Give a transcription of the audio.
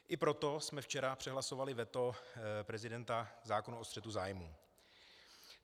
I proto jsme včera přehlasovali veto prezidenta zákona o střetu zájmů.